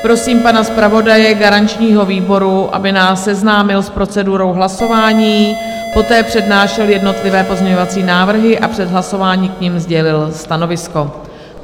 Prosím pana zpravodaje garančního výboru, aby nás seznámil s procedurou hlasování, poté přednášel jednotlivé pozměňovací návrhy a před hlasováním k nim sdělil stanovisko.